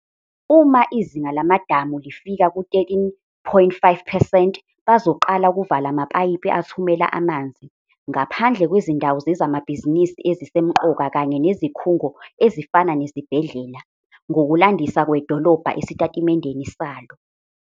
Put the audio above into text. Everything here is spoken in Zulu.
"Uma izinga lamadamu lifika ku-13.5 percent, bazoqala ukuvala amapayipi athumela amanzi, ngaphandle kwezindawo zezamabhizinisi ezisemqoka kanye nezikhungo, ezifana nezibhedlela," ngokulandisa kwedolobha esitatimendeni salo.